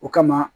O kama